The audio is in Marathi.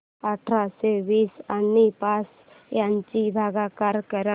अठराशे वीस आणि पाच यांचा भागाकार कर